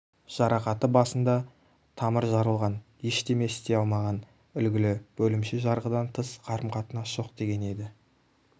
жарақаты басында тамыр жарылған ештеме істей алмаған үлгілі бөлімше жарғыдан тыс қарым-қатынас жоқ деген еді